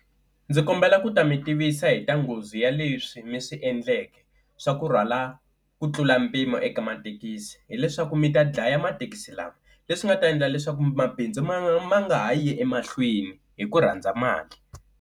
Ndzi kombela ku ta mi tivisa hi ta nghozi ya leswi mi swi endleke swa ku rhwala ku tlula mpimo eka mathekisi, hileswaku mi ta dlaya mathekisi lawa leswi nga ta endla leswaku mabindzu ma ma nga ha yi emahlweni hi ku rhandza mali.